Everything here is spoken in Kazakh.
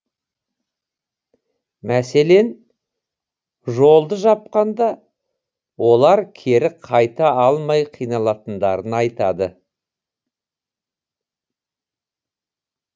мәселен жолды жапқанда олар кері қайта алмай қиналатындарын айтады